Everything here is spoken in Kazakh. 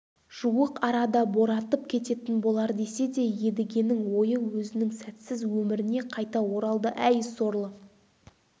жуық арада боратып кететін болар десе де едігенің ойы өзінің сәтсіз өміріне қайта оралды әй сорлы